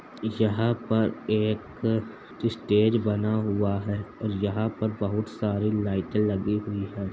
यहाँ पर एक स्टेज बना हुआ है और यहाँ पर बहोत सारी लाइटें लगी हुई हैं।